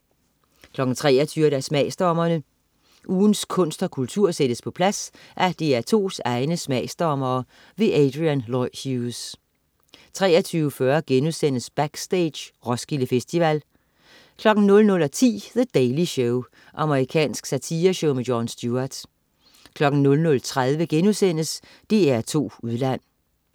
23.00 Smagsdommerne. Ugens kunst og kultur sættes på plads af DR2's egne smagsdommere. Adrian Lloyd Hughes 23.40 Backstage: Roskilde Festival* 00.10 The Daily Show. Amerikansk satireshow. Jon Stewart 00.30 DR2 Udland*